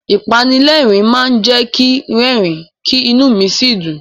Ìpanilẹ́rìn-ín máa jẹ́ kin rẹ́rìn-ín, kí inú mi sì dùn.